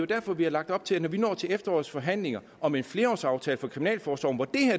derfor vi har lagt op til at vi til efterårets forhandlinger om en flerårsaftale for kriminalforsorgen hvor